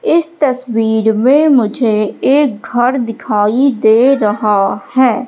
इस तस्वीर में मुझे एक घर दिखाई दे रहा है।